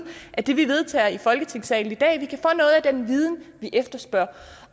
af det vi vedtager i folketingssalen i dag nemlig at vi kan få noget af den viden vi efterspørger